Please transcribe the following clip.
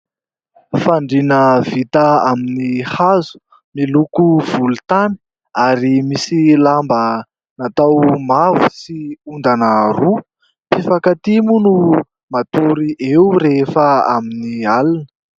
Fandrina vita amin'ny hazo, miloko volontany, ary misy lamba natao mavo sy ondana roa. Mpifankatia moa no matory eo rehefa amin'ny alina.